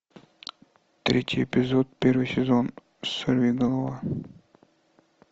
третий эпизод первый сезон сорвиголова